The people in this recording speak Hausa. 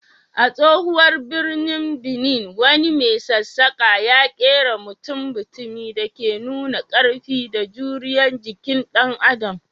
A tsohon birnin Benin, wani mai sassaƙa ya kera mutum-mutumi da ke nuna ƙarfi da juriyar jikin dan Adam.